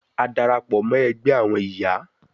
A darapọ mọ ẹgbẹ ẹgbẹ awọn iya